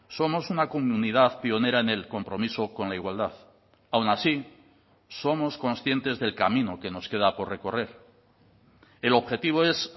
somos una comunidad pionera en el compromiso con la igualdad aun así somos conscientes del camino que nos queda por recorrer el objetivo es